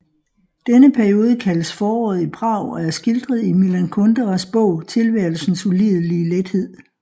Denne periode kaldes Foråret i Prag og er skildret i Milan Kunderas bog Tilværelsens ulidelige lethed